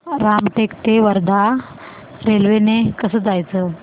रामटेक ते वर्धा रेल्वे ने कसं जायचं